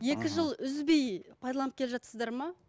мхм екі жыл үзбей пайдаланып келе жатырсыздар ма